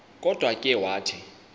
kodwa ke wathi